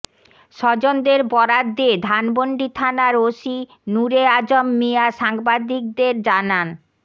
স্বজনদের বরাত দিয়ে ধানমন্ডি থানার ওসি নূরে আযম মিয়া সাংবাদিকদের জানান